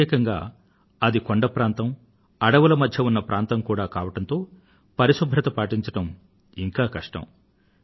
ప్రత్యేకంగా అది కొండ ప్రాంతం అడవుల మధ్య ఉన్న ప్రాంతం కూడా కావడంతో పరిశుభ్రత పాటించడం ఇంకా కష్టం